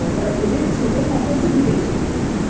এবার ওদের ছেলে থাকে হচ্ছে বিদেশে।